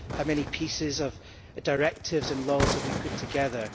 How many pieces of directives and laws have we put together?